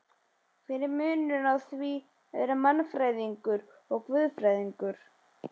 Hver er munurinn á því að vera mannfræðingur og guðfræðingur?